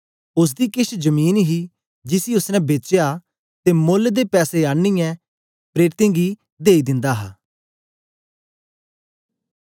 ओसदी केछ जमीन ही जिसी ओसने बेचया ते मोल्ल दे पैसे आनीयै प्रेरितें गी देई दिंदे हे